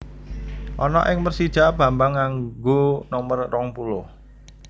Ana ing Persija Bambang nganggo nomer rong puluh